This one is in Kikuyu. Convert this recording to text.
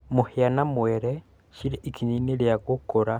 Mũhia na mwere cirĩ ikinya-inĩ rĩa gũkũra.